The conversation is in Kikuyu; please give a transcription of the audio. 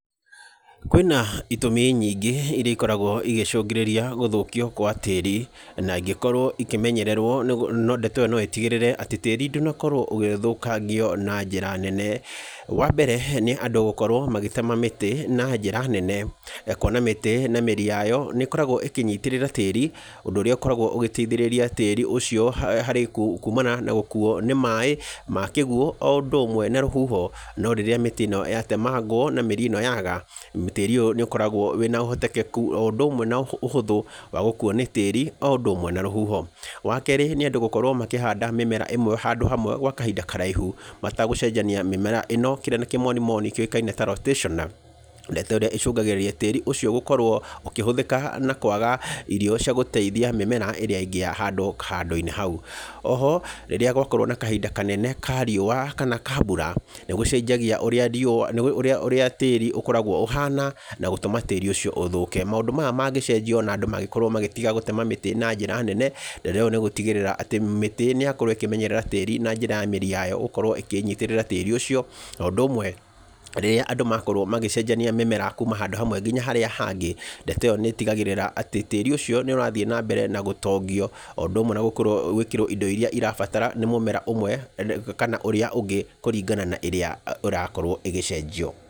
Kwĩna itũmi nyingĩ irĩa ikoragwo igĩcũngĩrĩria gũthũkio gwa tĩĩri na ĩngĩkorwo ikĩmemyererwo ndeto ĩyo no ĩtigĩrĩre atĩ tĩĩri ndũnakorwo ũgĩthũkangio na njĩra nene. Wa mbere nĩ andũ gũkorwo magĩtema mĩtĩ na njĩra nene, kuona mĩtĩ na mĩri yayo nĩ ĩkoragwo ĩkĩnyitĩrĩra tĩĩri. Ũndũ ũrĩa ũkoragwo ũgĩteithĩrĩria tĩĩri ũcio harĩ kuumana na gũkuo nĩ maĩ ma kĩguo o ũndũ ũmwe na rũhuho. No rĩrĩa mĩtĩ ĩno yatemangwo ma mĩri ĩyo yaaga, tĩĩri ũyũ nĩ ũkoragwo wĩna ũhotekeku o ũndũ ũmwe na ũhũthũ wa gũkuo nĩ tĩĩri o ũndũ ũmwe na rũhuho. Wa kerĩ nĩ andũ gũkorwo makĩhanda mĩmera ĩmwe handũ hamwe gwa kahinda karaihu matagũcenjania mĩmera ĩno, kĩrĩa nĩ kĩmonimoni kĩũĩkaine ta rotationer. Ndeto ĩrĩa ĩcũngagĩrĩria tĩĩri ũcio gũkorwo ũkĩhũthĩka na kwaga irio cai gũteithia mĩmera ĩrĩa ingĩ yahandwo handũ-inĩ hau. Oho rĩrĩa gwakorwo na kahinda kanene ka riũa kana ka mbura, nĩ gũcenjagia ũrĩa tĩĩri ũkoragwo ũhana na gũtũma tĩĩri ũcio ũthũke. Maũndũ maya mangĩcenjio ona andũ mangĩkorwo magĩtiga gũtema mĩtĩ na njĩra nene, rĩu nĩ gũtigĩrĩra atĩ mĩtĩ nĩ yakorwo ĩkĩmenyerera tĩĩri, na njĩra ya mĩri yayo gũkorwo ikĩĩnyitĩrĩra tĩĩri ũcio. O ũndũ ũmwe rĩrĩa andũ makorwo magĩcenjania mĩmera kuuma handũ hamwe nginya harĩa hangĩ, ndeto ĩyo nĩ ĩtigagĩrĩra atĩ tĩĩri ũcio nĩ ũrathiĩ na mbere na gũtongio. O ũndũ ũmwe na gwĩkĩrwo indo irĩa irabatara nĩ mũmera ũmwe kana ũrĩa ũngĩ kũringana na ĩrĩa ĩrakorwo ĩgĩcenjio.